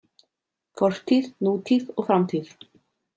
Fortíð, nútíð og framtíð.